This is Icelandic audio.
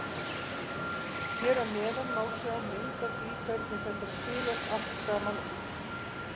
Hér að neðan má sjá mynd af því hvernig þetta spilast allt saman út.